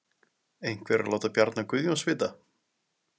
Einhver að láta Bjarna Guðjóns vita?